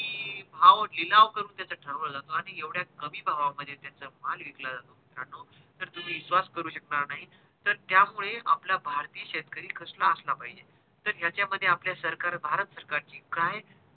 भाव लिलाव करून त्याचा ठरवला जातो आणि एवढ्या कमी भावा मध्ये त्याचा माळ विकला जातो मित्रांनो तर तुम्ही विश्वास करू शकणार नाही तर त्यामुळे आपला भारतीय शेतकरी कसला असला पाहिजे तर ह्याचा मध्ये आपला सरकार भारत सरकार ची काय